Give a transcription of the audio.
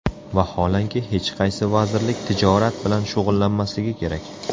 Vaholanki, hech qaysi vazirlik tijorat bilan shug‘ullanmasligi kerak.